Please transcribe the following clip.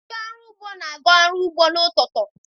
Ndị ọrụ ugbo na-aga ọrụ ugbo n'ụtụtụ.